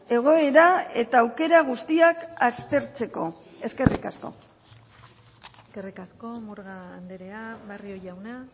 egoera eta aukera guztiak aztertzeko eskerrik asko eskerrik asko murga andrea barrio jauna